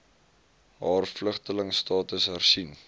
haar vlugtelingstatus hersien